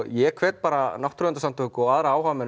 ég hvet bara náttúruverndarsamtök og aðra áhugamenn